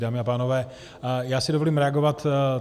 Dámy a pánové, já si dovolím reagovat.